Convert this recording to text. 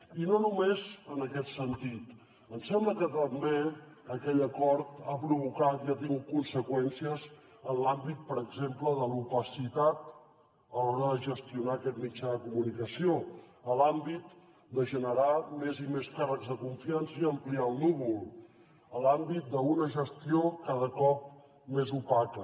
i no només en aquest sentit ens sembla que també aquell acord ha provocat i ha tingut conseqüències en l’àmbit per exemple de l’opacitat a l’hora de gestionar aquest mitjà de comunicació a l’àmbit de generar més i més càrrecs de confiança i ampliar el núvol a l’àmbit d’una gestió cada cop més opaca